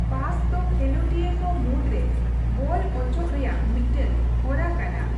ᱯᱟᱥ ᱫᱚ ᱠᱷᱮᱞᱚᱸᱰᱤᱭᱟᱹ ᱠᱚ ᱢᱩᱫᱽᱨᱮ ᱵᱚᱞ ᱚᱪᱚᱜ ᱨᱮᱭᱟᱜ ᱢᱤᱫᱴᱮᱱ ᱦᱚᱨᱟ ᱠᱟᱱᱟ ᱾